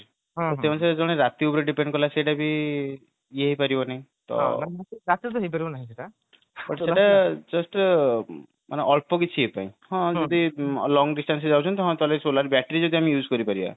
ସେଇ ଅନୁସାରେ ଜଣେ ରାତି ଉପରେ depend କଲା ସେଇଟା ବି ଇଏ ହେଇ ପାରିବନି ତ ସେଇଟା just ଅଳ୍ପ କିଛି ଦିନ ପାଇଁ ମାନେ long distance ରେ ଯାଉଛନ୍ତି ହଁ ତ ସୋଲାର battery ଜଡୋ ଆମେ use କରିପାରିବା